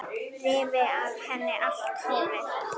Rífi af henni allt hárið.